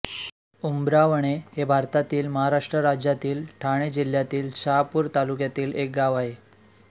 उंबरावणे हे भारतातील महाराष्ट्र राज्यातील ठाणे जिल्ह्यातील शहापूर तालुक्यातील एक गाव आहे